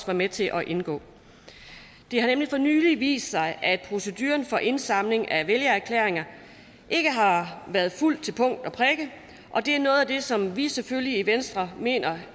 var med til at indgå det har nemlig for nylig vist sig at proceduren for indsamling af vælgererklæringer ikke har været fulgt til punkt og prikke og det er noget af det som vi selvfølgelig i venstre mener